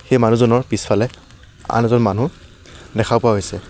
এই মানুহজনৰ পিছফালে আন এজন মানুহ দেখা পোৱা গৈছে।